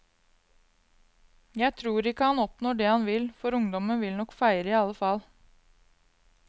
Jeg tror ikke at han oppnår det han vil, for ungdommen vil nok feire i alle fall.